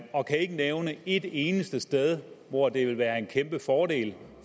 og kan ikke nævne et eneste sted hvor det vil være en kæmpe fordel